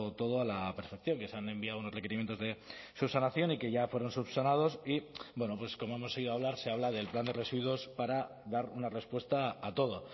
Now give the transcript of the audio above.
todo a la perfección que se han enviado unos requerimientos de subsanación y que ya fueron subsanados y bueno pues como hemos oído hablar se habla del plan de residuos para dar una respuesta a todo